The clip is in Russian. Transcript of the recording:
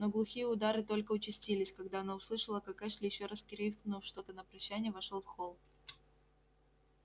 но глухие удары только участились когда она услышала как эшли ещё раз крикнув что-то на прощание вошёл в холл